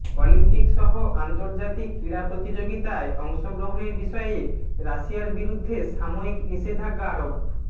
অলিম্পিকসহ আন্তর্জাতিক ক্রীড়া প্রতিযোগিতায় অংশগ্রহণের বিষয়ে রাশিয়ার বিরুদ্ধে সাময়িক নিষেধাজ্ঞা আরোপ